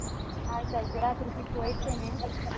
ಆಯ್ತಾಯ್ತು ರಾತ್ರಿ ಸಿಕ್ಕುವ ಇಡ್ತೇನೆ